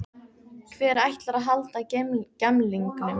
Hver ætlar að halda á gemlingnum?